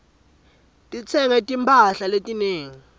ngitsenge timphahla letinengi